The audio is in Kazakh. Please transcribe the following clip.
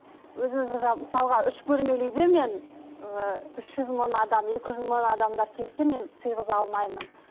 өзіміздің мысалға үш бөлмелі үйде мен ііі үш жүз мың адам екі жүз мың адамдар келсе мен сыйғыза алмаймын